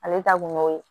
Ale ta kun y'o ye